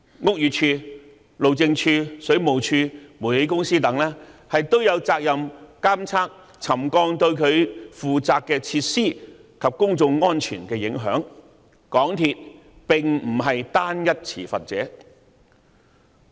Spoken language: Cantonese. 屋宇署、路政署、水務處和煤氣公司等也有責任監測沉降對各自負責的設施及公眾安全的影響，港鐵公司並非單一持份者。